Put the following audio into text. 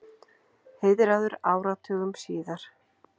Heiðraður áratugum síðar